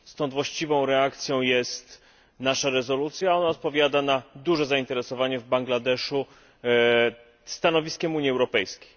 Stąd właściwą reakcją jest nasza rezolucja, ona odpowiada na duże zainteresowanie w Bangladeszu stanowiskiem Unii Europejskiej.